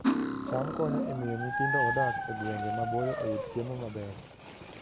cham konyo e miyo nyithindo modak e gwenge maboyo oyud chiemo maber